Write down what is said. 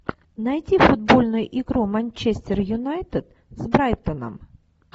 найти футбольную игру манчестер юнайтед с брайтоном